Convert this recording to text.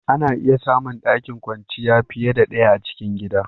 Ana iya samu ɗakin kwanciyar fiye da ɗaya a cikin gida.